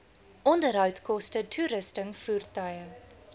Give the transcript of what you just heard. onderhoudkoste toerusting voertuie